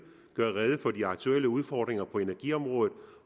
gør rede for de aktuelle udfordringer på energiområdet